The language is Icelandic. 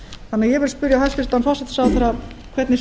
þannig að ég vil spyrja hæstvirtan forsætisráðherra hvernig